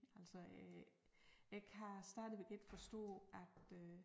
Altså øh jeg kan stadigvæk ikke forstå at øh